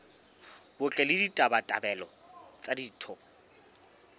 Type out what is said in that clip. botle le ditabatabelo tsa ditho